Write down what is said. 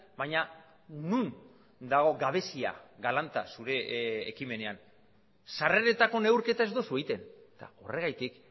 baina non dago gabezia galanta zure ekimenean sarreretako neurketa ez duzu egiten horregatik